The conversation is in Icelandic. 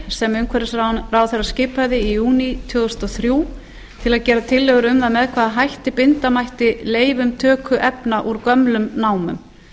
sem umhverfisráðherra skipaði í júní tvö þúsund og þrjú til að gera tillögur um með hvaða hætti binda mætti leyfum töku efna úr gömlum námum